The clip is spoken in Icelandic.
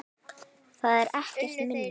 Það er ekkert minna!